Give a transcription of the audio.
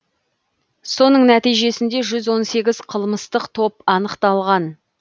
соның нәтижесінде жүз он сегіз қылмыстық топ анықталған